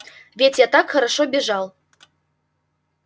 ведь я так хорошо бежал